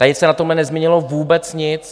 Tady se na tomhle nezměnilo vůbec nic.